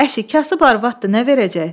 Əşi, kasıb arvaddır, nə verəcək?